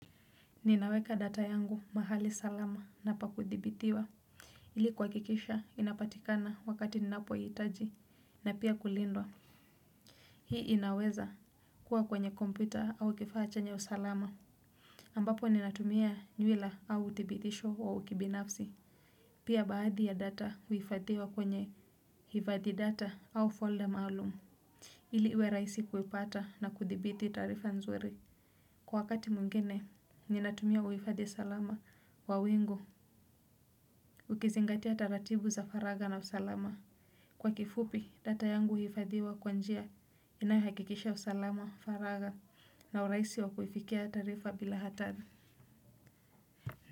Ninaweka data yangu mahali salama na pa kuthibitiwa. Ili kuhakikisha inapatikana wakati ninapohitaji na pia kulindwa. Hii inaweza kuwa kwenye kompuyta au kifaa chenye usalama ambapo ninatumia nywila au uthibitisho wa ukibinafsi. Pia baadhi ya data huifadhiwa kwenye hifadhi data au folder maalumu. Ili uwe rahisi kuipata na kuthibiti taarifa nzuri. Kwa wakati mwingine, ninatumia uhifadhi salama wa wingu, ukizingatia taratibu za faragha na usalama. Kwa kifupi, data yangu huhifadhiwa kwan njia inayohakikisha usalama, faragha, na uraisi wakufikia taarifa bila hata.